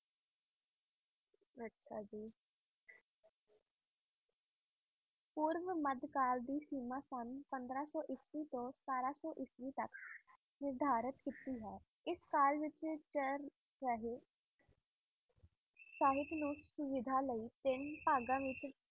ਪੂਰਵ ਮੱਧ ਕਾਲ ਦੀ ਸੀਮਾ ਸੰਨ ਪੰਦਰਾਂ ਸੌ ਈਸਵੀ ਤੋਂ ਸਤਾਰਾਂ ਸੌ ਈਸਵੀ ਤੱਕ ਨਿਰਧਾਰਤ ਕੀਤੀ ਹੈ, ਇਸ ਕਾਲ ਵਿੱਚ ਸਾਹਿਤ ਨੂੰ ਸੁਵਿਧਾ ਲਈ ਤਿੰਨ ਭਾਗਾਂ ਵਿੱਚ